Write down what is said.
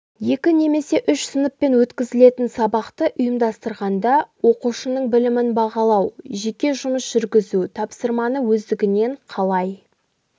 екі немесе үш сыныппен өткізілетін сабақты ұйымдастырғанда оқушының білімін бағалау жеке жұмыс жүргізу тапсырманы өздігінен қалай